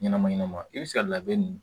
Ɲɛnama ɲɛnama i bɛ se ka labɛn ninnu